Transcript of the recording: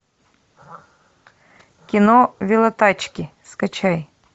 кино велотачки скачай